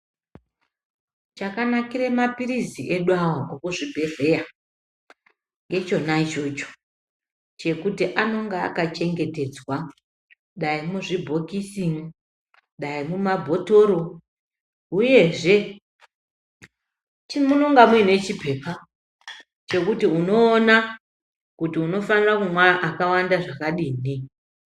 Chakanakira mapilizi edu aya emuzvibhehleya ngechona ichocho chekuti anonga akachengetedzwa Dai muzvibhokisi, Dai mumabhotoro uyezve munenge mune chipepa chekuti unoona kuti unofana kumwa akawanda zvakadini.